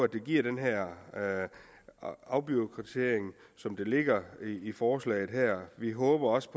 det giver den her afbureaukratisering som ligger i forslaget her vi håber også